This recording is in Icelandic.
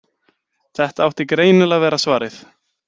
Þetta átti greinilega að vera svarið.